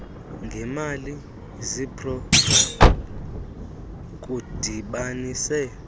ngeemali zeprogramu kudibanise